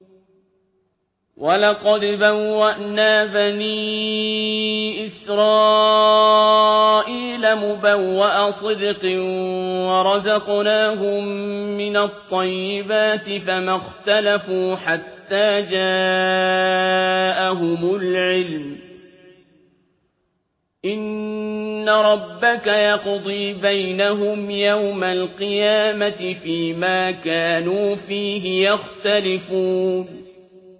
وَلَقَدْ بَوَّأْنَا بَنِي إِسْرَائِيلَ مُبَوَّأَ صِدْقٍ وَرَزَقْنَاهُم مِّنَ الطَّيِّبَاتِ فَمَا اخْتَلَفُوا حَتَّىٰ جَاءَهُمُ الْعِلْمُ ۚ إِنَّ رَبَّكَ يَقْضِي بَيْنَهُمْ يَوْمَ الْقِيَامَةِ فِيمَا كَانُوا فِيهِ يَخْتَلِفُونَ